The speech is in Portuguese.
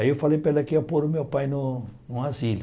Aí eu falei para ela que ia pôr o meu pai no no asilo.